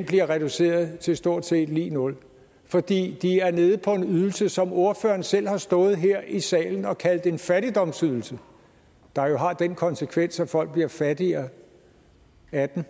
bliver reduceret til stort set lig nul fordi de er nede på en ydelse som ordføreren selv har stået her i salen og kaldt en fattigdomsydelse der jo har den konsekvens at folk bliver fattigere af den